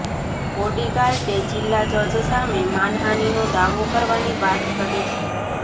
બોડીગાર્ડે જિલ્લા જજ સામે માનહાનીનો દાવો કરવાની વાત કરી છે